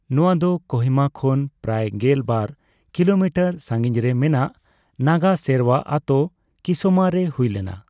ᱱᱚᱣᱟ ᱫᱚ ᱠᱳᱦᱤᱢᱟ ᱠᱷᱚᱱ ᱯᱨᱟᱭ ᱜᱮᱞ ᱵᱟᱨ ᱠᱤᱞᱳᱢᱤᱴᱟᱨ ᱥᱟᱸᱜᱤᱧᱨᱮ ᱢᱮᱱᱟᱜ ᱱᱟᱜᱟ ᱥᱮᱨᱣᱟ ᱟᱛᱳ ᱠᱤᱥᱟᱢᱟᱼᱨᱮ ᱦᱩᱭ ᱞᱮᱱᱟ ᱾